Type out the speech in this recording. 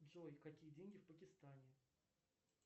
джой какие деньги в пакистане